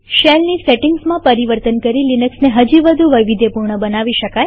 શેલની સેટિંગમાં પરિવર્તન કરી લિનક્સને હજી વધુ વૈવિધ્યપૂર્ણ બનાવી શકીએ